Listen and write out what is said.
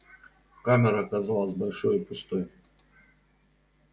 камера казалась большой и пустой